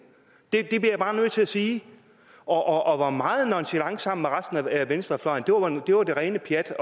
det bliver jeg bare nødt til at sige og han var meget nonchalant sammen med resten af venstrefløjen og mente det var det rene pjat